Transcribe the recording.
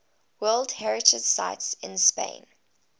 world heritage sites in spain